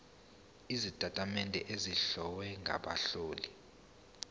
sezitatimende ezihlowe ngabahloli